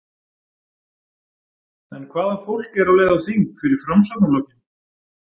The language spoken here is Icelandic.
En hvaða fólk er á leið á þing fyrir Framsóknarflokkinn?